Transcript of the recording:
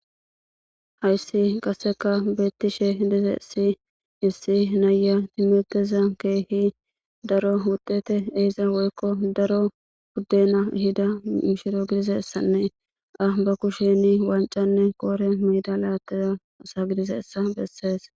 hayssi qasseka beettishe dizesi issi naaya timirteza keehi daro hudete eesia woykko daro guddena hida mishiro gidizessanne a ba kusheni wancanne koore meda laatteza asa gidizeessa bessees